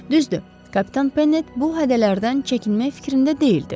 Düzdür, kapitan Pennet bu hədələrdən çəkinmək fikrində deyildi.